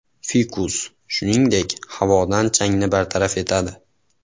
Fikus, shuningdek, havodan changni bartaraf etadi.